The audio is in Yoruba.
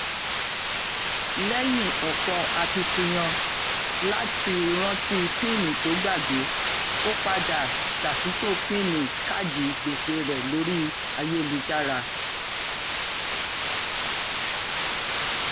lẹyìn ọpọ akitiyan láti rántí píínì to ógbàgbé ó padà ṣàtúntò píínì káàdì gbèsè rẹ lórí ayélujára